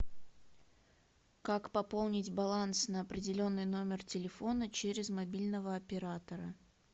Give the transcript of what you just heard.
как пополнить баланс на определенный номер телефона через мобильного оператора